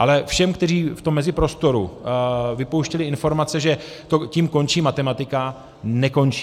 Ale všem, kteří v tom meziprostoru vypouštěli informace, že tím končí matematika - nekončí.